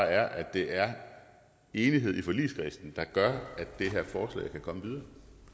er at det er enighed i forligskredsen der gør at det her forslag kan komme videre